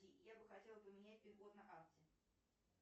я бы хотела поменять пин код на карте